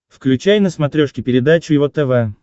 включай на смотрешке передачу его тв